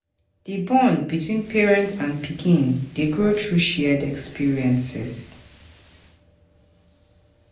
Di bond between parent and pikin dey grow through shared experiences um.